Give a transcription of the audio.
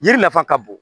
Yiri nafa ka bon